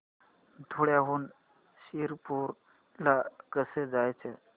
धुळ्याहून शिरपूर ला कसे जायचे